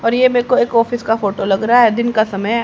और ये मेरे को एक ऑफिस का फोटो लग रहा है दिन का समय है।